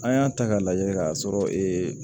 An y'a ta k'a lajɛ k'a sɔrɔ ee